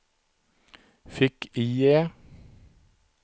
fick-IE